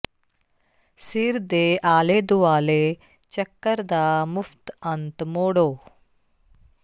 ਸਿਰ ਦੇ ਆਲੇ ਦੁਆਲੇ ਚੱਕਰ ਦਾ ਮੁਫ਼ਤ ਅੰਤ ਮੋੜੋ